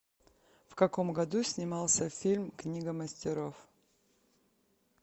в каком году снимался фильм книга мастеров